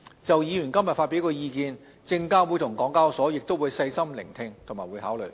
就議員今天發表的意見，證監會及港交所亦會細心聆聽和考慮。